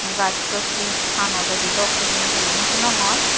hachut he pano lodi dok hijeni nw sinongor.